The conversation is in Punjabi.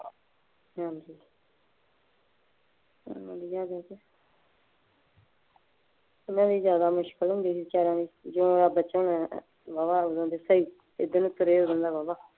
ਹਾਂਜੀ, ਪਹਿਲਾ ਜਿਆਦਾ ਮੁਸ਼ਕਿਲ ਹੁੰਦੀ ਸੀ ਵਿਚਾਰਿਆਂ ਦੇ ਜਦੋ ਦਾ ਬੱਚਾ ਹੋਣ ਵਾਲਾ ਸੀ। ਏਧਰ ਨੂੰ ਤੁਰੇ ਉਦੋਦੇ ਵਾਹਵਾ।